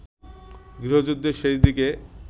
গৃহযুদ্ধের শেষদিকে